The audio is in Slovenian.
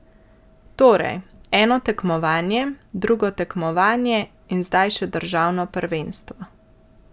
Torej, eno tekmovanje, drugo tekmovanje in zdaj še državno prvenstvo.